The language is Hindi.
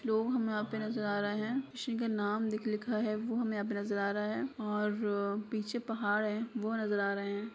कुछ लोग हमें यहां पे नजर आ रहे हैं किसी का नाम लिख लिखा है वो हमें यहां पे नजर आ रहा है और पीछे का पहाड़ हैवो नजर आ रहे है।